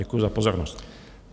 Děkuji za pozornost.